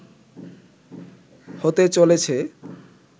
হতে চলেছে